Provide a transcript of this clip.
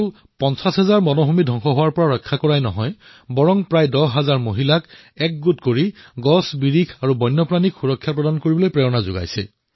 তেওঁ কেৱল ৫০ হেক্টৰ অৰণ্য ধ্বংস হোৱাৰ পৰা ৰক্ষা কৰাই নহয় দহ হাজাৰ মহিলাক একত্ৰিত কৰি গছ আৰু বন্যজীৱৰ সুৰক্ষাৰ বাবেও উৎসাহিত কৰিছে